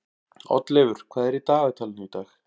Oddleifur, hvað er í dagatalinu í dag?